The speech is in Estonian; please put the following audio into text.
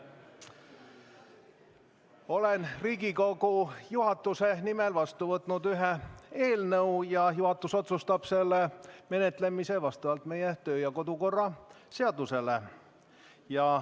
Olen Riigikogu juhatuse nimel vastu võtnud ühe eelnõu ja juhatus otsustab selle menetlemise vastavalt meie kodu- ja töökorra seadusele.